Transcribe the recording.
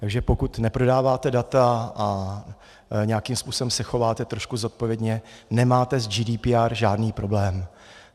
Takže pokud neprodáváte data a nějakým způsobem se chováte trošku zodpovědně, nemáte s GDPR žádný problém.